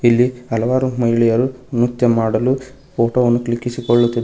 ಇಲ್ಲಿ ಹಲವಾರು ಮಹಿಳೆಯರು ನೃತ್ಯ ಮಾಡಲು ಫೋಟೋ ಅನ್ನು ಕ್ಲಿಕ್ಕಿಸಿಕೊಳ್ಳುತ್ತಿದ್ದಾ--